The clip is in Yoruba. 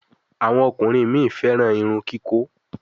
Àwọn ọkùnrin mí féràn Irun kikọ.